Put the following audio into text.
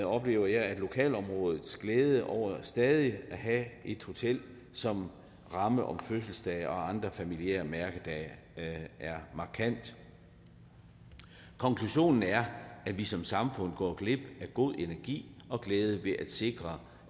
oplever jeg at lokalområdets glæde over stadig at have et hotel som ramme om fødselsdage og andre familiære mærkedage er markant konklusionen er at vi som samfund går glip af god energi og glæde ved ikke at sikre